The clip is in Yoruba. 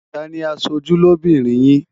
Ta ni aṣojú lóbìnrin yín?